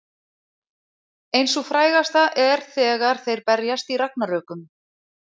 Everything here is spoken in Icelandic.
Ein sú frægasta er þegar þeir berjast í Ragnarökum.